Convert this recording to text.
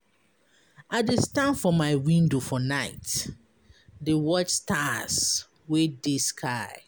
I dey stand for my window for night, dey watch stars wey dey sky.